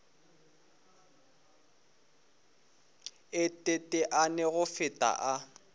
a teteane go feta a